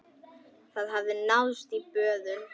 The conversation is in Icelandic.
Það hafði náðst í böðul.